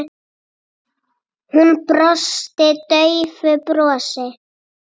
Hún brosti daufu brosi.